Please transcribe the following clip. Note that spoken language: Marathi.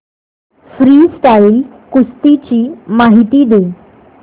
फ्रीस्टाईल कुस्ती ची माहिती दे